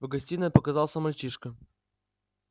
в гостиной показался мальчишка